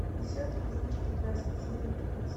и все таки мир прекрасен серия пятнадцать